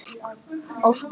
Ósk